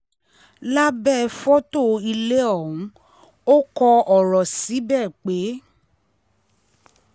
lábẹ́ fọ́tò ilé ọ̀hún ò kọ ọ̀rọ̀ síbẹ̀ pé